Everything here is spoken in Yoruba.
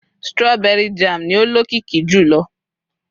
strawberry jam ni o lokiki jùlọ